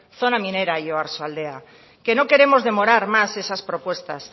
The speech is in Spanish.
zona minera y oarsoaldea que no queremos demorar más esas propuestas